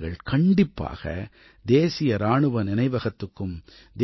நீங்கள் கண்டிப்பாக தேசிய இராணுவ நினைவகத்துக்கும்